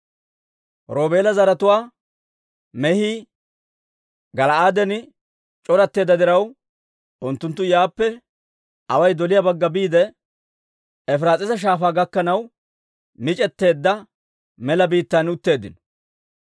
Roobeela zaratuwaa mehii Gala'aaden c'oratteedda diraw, unttunttu yaappe away doliyaa bagga biide, Efiraas'iisa Shaafaa gakkanaw mic'eteedda mela biittaan utteeddino.